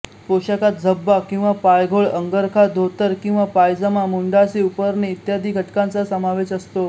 पोषाखात झब्बा किंवा पायघोळ अंगरखा धोतर किंवा पायजमा मुंडासे उपरणे इ घटकांचा समावेश असतो